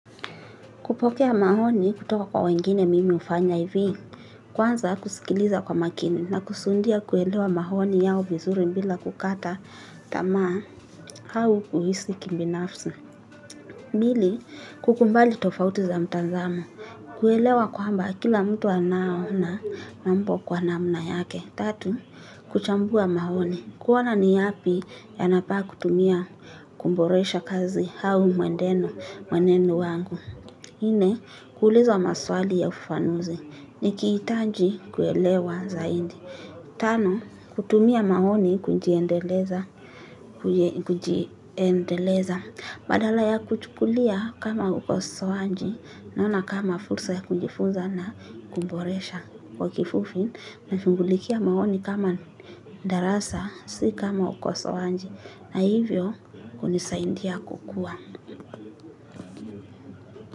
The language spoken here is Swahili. Kupokea maoni kutoka kwa wengine mimi hufanya hivi, kwanza kusikiliza kwa makini na kusundia kuelewa maoni yao vizuri bila kukata tamaa au kuhisi kibinafsi. Pili, kukubali tofauti za mtazamo. Kuelewa kwamba kila mtu anao na mambo kwa namna yake. Tatu, kuchambua maoni. Kuona ni yapi yanafaa kutumia kuboresha kazi au mwenendo, mwenendo wangu. Kuuliza maswali ya ufanusi nikihitaji kuelewa zaidi. Tano, kutumia maoni kujiendeleza, badala ya kuchukulia kama ukosowaji, naona kama fursa ya kujifunza na kuboresha. Kwa kifupi, nashughulikia maoni kama darasa, si kama ukosowaji, na hivyo kunisaidia kukua.